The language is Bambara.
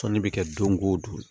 Tɔnni bɛ kɛ don o don